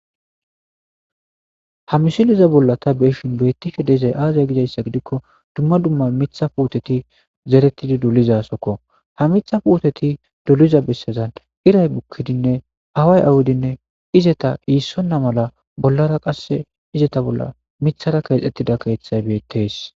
ha misiliza bolla ta beeshin beettishe dezay aaza gidayssa gidikko dumma dumma mitha puuteti zerettidi dulizasokko ha mitha puuteti duliza bessezan iray bukkidinne haway awudinne izeta iissonna mala bollara qasse izeta bolla mithara keexxettida keeththay beettees